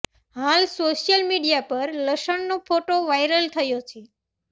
હાલ social media પર લસણનો ફોટો વાઈરલ થયો છે